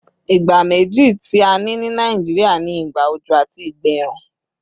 Ìgbà méjì tí a ní ní Nàìjíríà ni ìgbà òjò àti ìgbà ẹ̀rùn